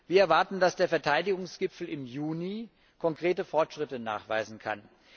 Wir erwarten, dass der Verteidigungsgipfel im Juni konkrete Fortschritte nachweisen kann.